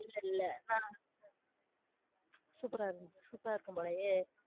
இல்லஇல்ல ஆனா சூப்பரா இருந்த் சூப்பரா இருக்கும் போலயே?